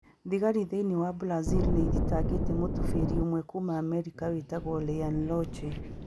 Thigari thĩinĩ wa Brazil nĩ ĩthitangĩte mūtubīri ũmwe kuuma Amerika wĩtagwo Ryan Lotche